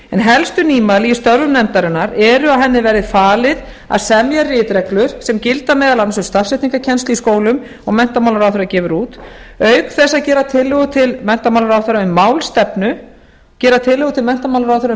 helstu nýmæli í störfum nefndarinnar er að henni verði falið að semja ritreglur sem gilda meðal annars um stafsetningarkennslu í skólum og menntamálaráðherra gefur út auk þess að gera tillögu til menntamálaráðherra um